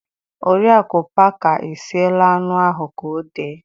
Oriaku parker esiela anụ ahụ ka ọ dee